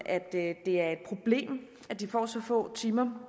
at det er et problem at de får så få timer